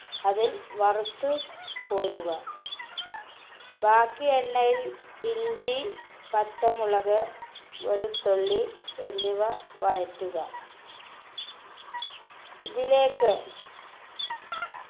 അതിൽ വറുത്തു കോരുക ബാക്കി എണ്ണയിൽ ഇഞ്ചി പച്ചമുളക് വെളുത്തുള്ളി എന്നിവ വഴറ്റുക ഇതിലേക്ക്